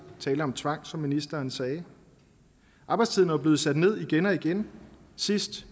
tale om tvang som ministeren sagde arbejdstiden er jo blevet sat ned igen og igen sidst